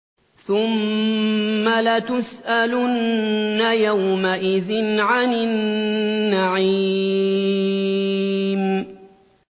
ثُمَّ لَتُسْأَلُنَّ يَوْمَئِذٍ عَنِ النَّعِيمِ